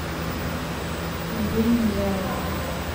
мобильный заработок